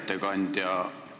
Hea ettekandja!